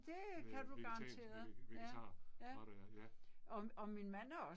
Øh vegetansk øh vegetar var det ja, ja